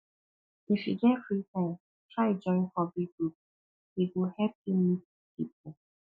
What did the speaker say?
if you get free time try join hobby group e go help you meet people